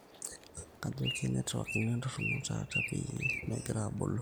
kajo kee network ino entoron taata peyie megira abolo